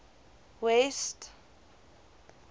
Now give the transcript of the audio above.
west